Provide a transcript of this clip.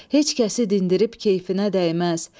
Heç kəsi dindirib keyfinə dəyməz.